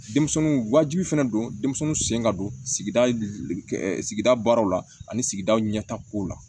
Denmisɛnninw wajibi fana don denmisɛnninw sen ka don sigida sigida baaraw la ani sigidaw ɲɛtako la